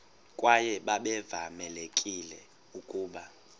kwaye babevamelekile ukuba